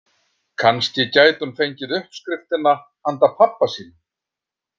Kannski gæti hún fengið uppskriftina handa pabba sínum.